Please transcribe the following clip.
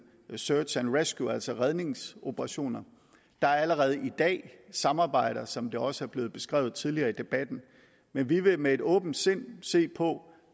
search and rescue altså redningsoperationer der er allerede i dag samarbejder som det også er blevet beskrevet tidligere i debatten men vi vil med et åbent sind se på